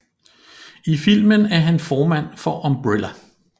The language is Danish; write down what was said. I filmen er han formand for Umbrella